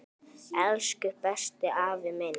Elsku besti, afi minn.